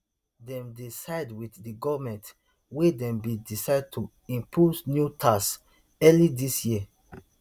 dem dey side wit di goment wen dem bin decide to impose new taxes early dis year